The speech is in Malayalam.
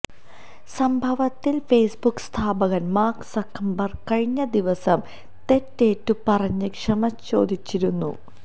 സംഭവത്തിൽ ഫോസ്ബുക്ക് സ്ഥാപകൻ മാർക്ക് സക്കർബർഗ് കഴിഞ്ഞ ദിവസം തെറ്റേറ്റുപറഞ്ഞ് ക്ഷമ ചോദിച്ചിരുന്നു